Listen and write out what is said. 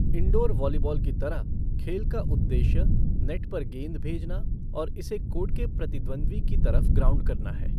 Indoor volleyball की तरह, खेल का उद्देश्य नेट पर गेंद भेजना और इसे कोर्ट के प्रतिद्वंद्वी की तरफ ग्राउंड करना है।